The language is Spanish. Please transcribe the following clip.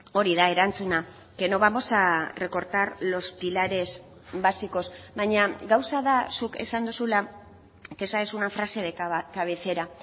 hori da erantzuna que no vamos a recortar los pilares básicos baina gauza da zuk esan duzula que esa es una frase de cabecera